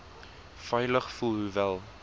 veilig voel hoewel